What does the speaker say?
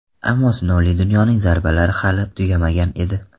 Ammo sinovli dunyoning zarbalari hali tugamagan edi.